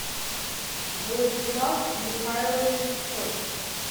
владислав михайлович соц